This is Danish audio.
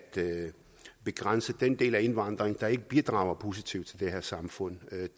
begrænse den del af indvandringen der ikke bidrager positivt til det her samfund